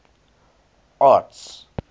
arts